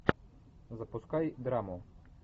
запускай драму